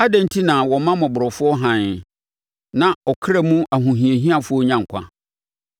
“Adɛn enti na wɔma mmɔborɔfoɔ hann, na ɔkra mu ahohiahiafoɔ nya nkwa?